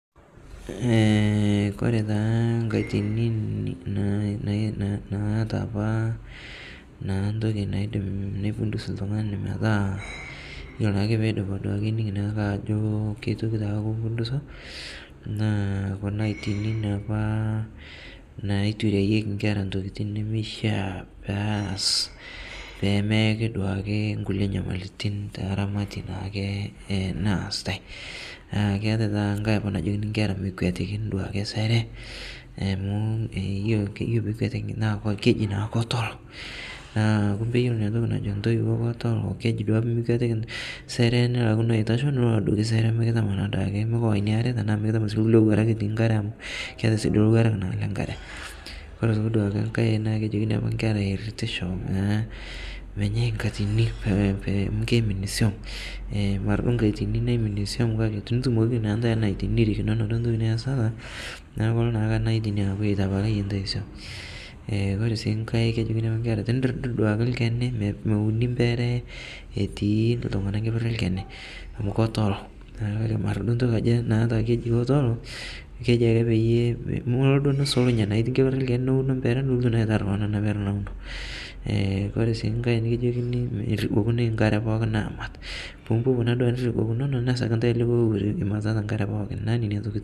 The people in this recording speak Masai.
Kore taa nkatini naata apa naa ntoki naidim neipundus ltungani metaa iyolo naake peidipi duake naa ining' naake ajo ketityoki taa kimpunduso, naa kuna aitini naapa naitureyeki inkera ntokitin nemeishaa peyas, pemeeki duake inkule inyamaritin tee ramati naake naasitae, naa keatae taata nkae aoa najoki i kera mekwetikini duake sere amuu ore peekuetikini naa keidim naa ketolo, naaa kumbe iyilo inatoki najo ntoiwo ketolo, keji duake pemikwetiki sere nilakino aitasho nilo adoki sere mikitama naa duake, mikiwa inaare anaa mikitama sii duake lkule lowuarak etii inkare amuu ketae sii duake lowuarak naa le inkare, ore duake aitoli inkae naa kejokini apake i kera eiritisho naa menyei inkatini amu keimin siom, mara nkatini naiminie siom kake tenitumokiki naa ntae ena atini nirikinono duo ntoki niesitata, naaku kolo naa ena atini aaku eitapaliye ntae siom. Kore sii nkae kejokini apa inkera tenidirdir duake ilkeni, meuni impere etii ltunganak nkeper e ilchani amu ketolo, naaku mara suo ntoki najii ketolo, keji ake peyie mulo duo nisulunye naa itii nkeper olkeni neuno impere, nilotu naa aitarr keon ana pere nauno, kpore sii nkae nikijokini meirigokunoi inkare pookin aamat, pimipopo naa duake niribokunono nesag ntae likae oreren imatitata inkare pooki, naaku nenia tokitin.